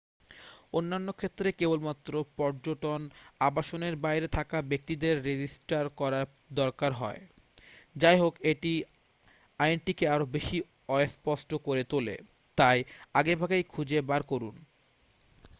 অন্যান্য ক্ষেত্রে কেবলমাত্র পর্যটন আবাসনের বাইরে থাকা ব্যক্তিদের রেজিস্টার করার দরকার হয় যাইহোক এটি আইনটিকে আরও বেশি অস্পষ্ট করে তোলে তাই আগেভাগেই খুঁজে বার করুন